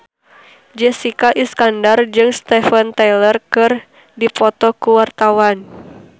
Jessica Iskandar jeung Steven Tyler keur dipoto ku wartawan